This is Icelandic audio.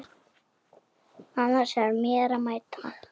Annars er mér að mæta.